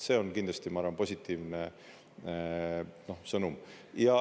See on kindlasti, ma arvan, positiivne sõnum.